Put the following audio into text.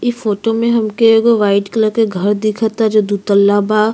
इ फोटो में हमके एगो वाइट कलर के घर दिखता जो दुतल्ला बा।